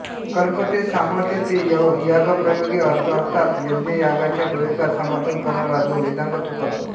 कल्प्यते समर्थ्यते यागप्रयोगे अत्र अर्थात यज्ञयागाच्या प्रयोगात समर्थन करणारा जो वेदांग तो कल्प